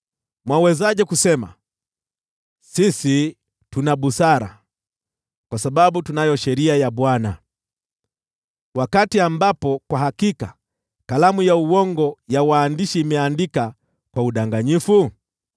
“ ‘Mwawezaje kusema, “Sisi tuna busara kwa sababu tunayo sheria ya Bwana ,” wakati ambapo kwa hakika kalamu ya uongo ya waandishi imeandika kwa udanganyifu?